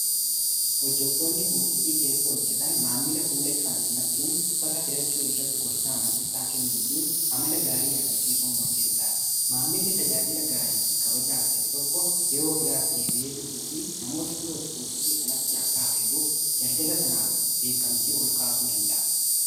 hojjatoonni buutikii keessa hojjetan maammila fuula ifaan simachuun uffata filachuu irratti gorsaa amansiisaa kennuu fi amala gaarii agarsiisuu murteessaa maammilli tajaajila gaarii fi kabaja argate tokko yeroo biraas deebi'ee dhufuu fi namoota biroos buutiqii sanatti akka afeeruuf daldala sanaaf beekamtii ol kaasuu danda'a